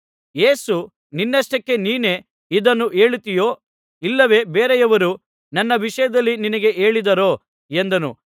ಯೇಸು ನಿನ್ನಷ್ಟಕ್ಕೆ ನೀನೇ ಇದನ್ನು ಹೇಳುತ್ತೀಯೋ ಇಲ್ಲವೇ ಬೇರೆಯವರು ನನ್ನ ವಿಷಯದಲ್ಲಿ ನಿನಗೆ ಹೇಳಿದ್ದಾರೋ ಎಂದನು